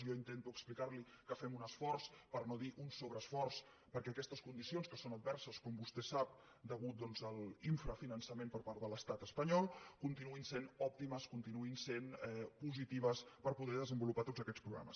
jo intento explicar li que fem un esforç per no dir un sobreesforç perquè aquestes condicions que són adverses com vostè sap a causa doncs de l’infrafinançament per part de l’estat espanyol continuïn sent òptimes continuïn sent positives per poder desenvolupar tots aquests programes